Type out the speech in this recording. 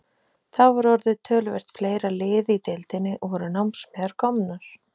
Þá var orðið töluvert fleira lið í deildinni, og voru námsmeyjar komnar.